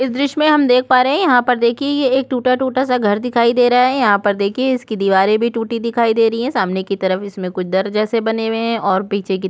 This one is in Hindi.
इस दृश्य में हम देख पा रहे हैं यहाँ पर देखिए ये एक टूटा टूटा सा घर दिखाई दे रहा है यहाँ पर देखिए इसकी दीवारें भी टूटी सामने की तरफ इसमें कुछ दर जैसे बने हुए हैं और पीछे की त--